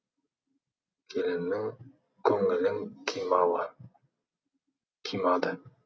келіннің көңілін қимады